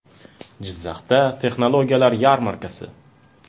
Jizzaxda texnologiyalar yarmarkasi.